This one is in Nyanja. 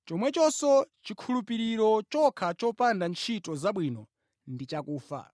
Chomwechonso, chikhulupiriro chokha chopanda ntchito zabwino ndi chakufa.